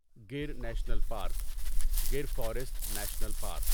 گیر national park Gir forest national park